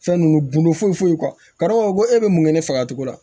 Fɛn nunnu bundo foyi foyi e be mun kɛ ne fagacogo la